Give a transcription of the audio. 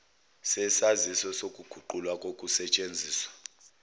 sesaziso sokuguqulwa kokusesthenziswa